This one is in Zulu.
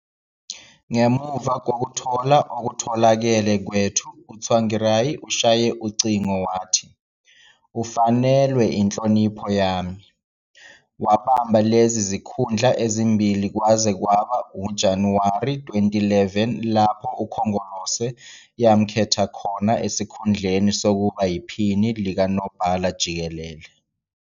"Ngemuva kokuthola okutholakele kwethu uTsvangirai ushaye ucingo wathi" ufanelwe inhlonipho yami. Wabamba lezi zikhundla ezimbili kwaze kwaba nguJanuwari 2011 lapho iCongress yamkhetha khona esikhundleni sokuba yiPhini likaNobhala-Jikelele.